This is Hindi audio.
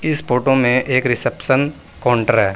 इस फोटो में एक रिसेप्शन काउंटर है।